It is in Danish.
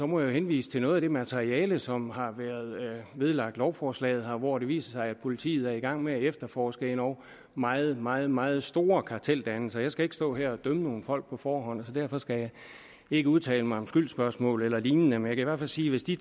må jeg henvise til noget af det materiale som har været vedlagt lovforslaget og hvor det viser sig at politiet er i gang med at efterforske endog meget meget meget store karteldannelser jeg skal ikke stå her og dømme nogen folk på forhånd så derfor skal jeg ikke udtale mig om skyldsspørgsmål eller lignende men jeg kan sige at hvis de